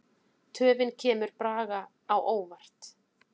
Töfin kemur Braga á óvart.